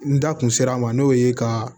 N da kun sera a ma n'o ye ka